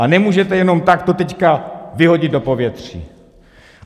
A nemůžete jenom tak to teď vyhodit do povětří.